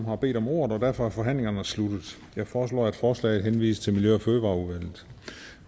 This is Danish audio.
har bedt om ordet og derfor er forhandlingen sluttet jeg foreslår at forslaget henvises til miljø og fødevareudvalget